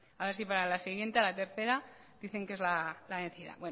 a ver si para la siguiente a la tercera dicen que es la vencida